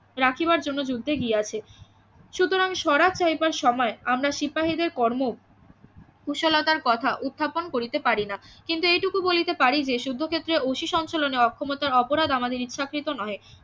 রাখিবার জন্য যুদ্ধে গিয়াছে সুতরাং স্বরাজ চাহিবার সময় আমরা সিপাহিদের কর্ম কুশলতার কথা উত্থাপন করিতে পারিনা কিন্তু এইটুকু বলিতে পারি যে যুদ্ধক্ষেত্রে অতি সঞ্চলনিয় অক্ষমতা অপরাধ আমাদের ইচ্ছাকৃত নহে